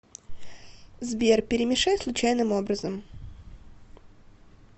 сбер перемешай случайным образом